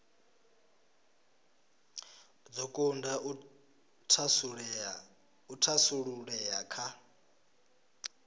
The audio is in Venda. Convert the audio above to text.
dzo kunda u thasululea kha